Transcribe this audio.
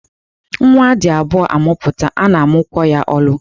Nwa a dị abụọ amụpụta a na-amụkwo ya olu.